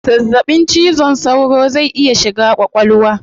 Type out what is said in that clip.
Zazzabin cizon saura zai iya shiga kwakwalwa